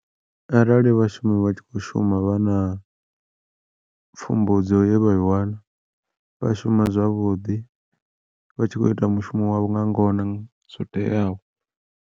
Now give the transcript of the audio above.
Arali vhashumi vha tshi khou shuma vha na pfumbudzo ye vha i wana vha shuma zwavhuḓi, vha tshi khou ita mushumo wavho nga ngona zwo teaho.